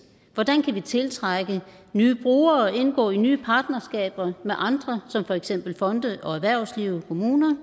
hvordan kan vi tiltrække nye brugere og indgå i nye partnerskaber med andre som for eksempel fonde og erhvervsliv og kommuner